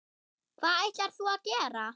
Hvað ætlar þú að gera?